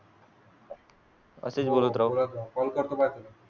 असेच बोलत राहू. call आहेत. वर.